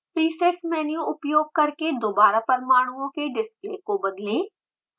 presets menu उपयोग करके दोबारा परमाणुओं के डिस्प्ले को बदलें